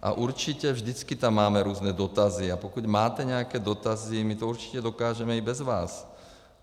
A určitě vždycky tam máme různé dotazy, a pokud máte nějaké dotazy, my to určitě dokážeme i bez vás.